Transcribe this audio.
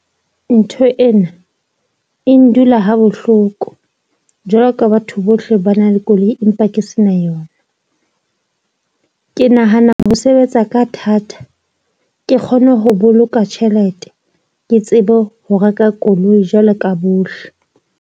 Ntho ena e ndula ha bohloko jwalo ka batho bohle ba na le koloi empa ke se na yona. Ke nahana ho sebetsa ka thata, ke kgone ho boloka tjhelete ke tsebe ho reka koloi jwalo ka bohle.